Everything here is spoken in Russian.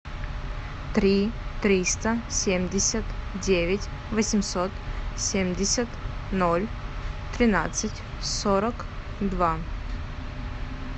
три триста семьдесят девять восемьсот семьдесят ноль тринадцать сорок два